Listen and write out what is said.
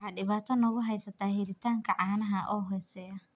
Waxa dhibaato nagu haysa helitaanka caanaha oo hooseeya.